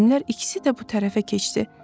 Müəllimlər ikisi də bu tərəfə keçdi.